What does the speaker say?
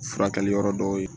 Furakɛli yɔrɔ dɔw ye